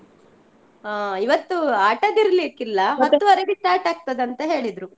ಹಾ ಇವತ್ತು ಆಟದ್ದು ಇರ್ಲಿಕ್ಕೆ ಇಲ್ಲ start ಆಗ್ತದೆ ಅಂತ ಹೇಳಿದ್ರು.